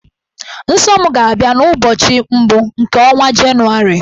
Nsọ m ga-abịa n'ụbọchị mbụ nke ọnwa Jenụwarị.